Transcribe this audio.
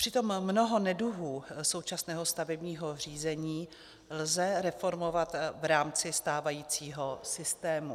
Přitom mnoho neduhů současného stavebního řízení lze reformovat v rámci stávajícího systému.